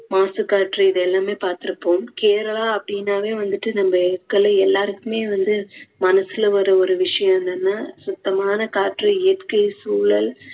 மாசுக்காற்று இதெல்லாமே பார்த்துருப்போம். கேரளா அப்படின்னாவே வந்துட்டு நம்ம எல்லாருக்குமே வந்து மனசுல ஒரு ஒரு விஷயம் என்னன்னா சுத்தமான காற்று இயற்கை சூழல்